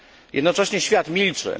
Jednocześnie świat milczy.